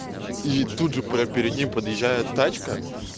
и тут же прямо перед ним подъезжает тачка